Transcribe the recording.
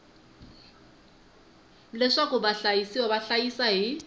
leswaku vahlayisiwa va hlayisa hi